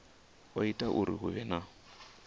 o ita uri hu vhe